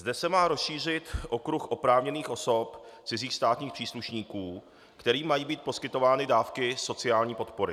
Zde se má rozšířit okruh oprávněných osob - cizích státních příslušníků, kterým mají být poskytovány dávky sociální podpory.